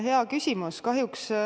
Hea küsimus.